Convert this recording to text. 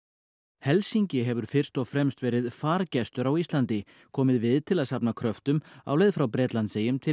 helsingi hefur fyrst og fremst verið á Íslandi komið við til að safna kröftum á leið frá Bretlandseyjum til